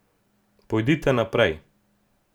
Pojdite naprej.